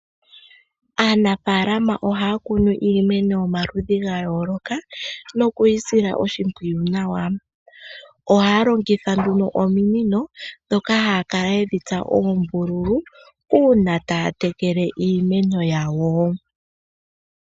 Aanafalama ohaya kunu iiemno yomaludhi ga yooloka nokuyi sila oshimpwiyu nawa. Ohaya longitha nduno ominino dhoka haya kala yedhi tsa oombululu, uuna taya tekele iimeno yawo.